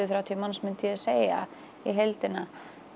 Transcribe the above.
þrjátíu manns myndi ég segja í heildina